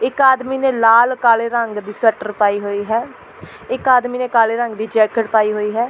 ਇੱਕ ਆਦਮੀ ਨੇ ਲਾਲ ਕਾਲੇ ਰੰਗ ਦੀ ਸਵੈਟਰ ਪਾਈ ਹੋਈ ਹੈ ਇੱਕ ਆਦਮੀ ਨੇ ਕਾਲੇ ਰੰਗ ਦੀ ਜੈਕੇਟ ਪਾਈ ਹੋਈ ਹੈ।